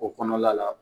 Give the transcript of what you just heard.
O kɔnɔna la